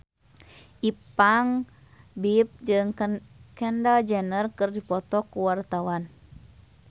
Ipank BIP jeung Kendall Jenner keur dipoto ku wartawan